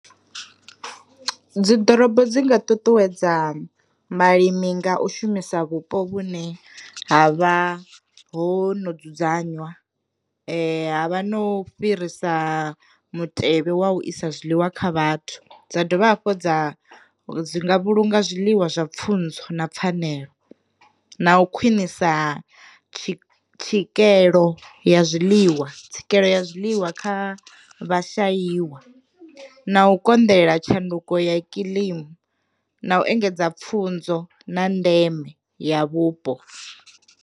Dzi ḓorobo dzi nga ṱuṱuwedza vhalimi nga u shumisa vhupo vhune ha vha ho no dzudzanywa ha vha no fhirisa mutevhe wa u isa zwiḽiwa kha vhathu, dza dovha hafhu dza dzi nga vhulunga zwiḽiwa zwa pfunzo na pfanelo, na u khwinisa tswikelelo ya ḽiwa tswikelelo ya zwiḽiwa kha vha shaiwa, na u konḓelela tshanduko ya kilima, na u engedza pfunzo na ndeme ya vhupo.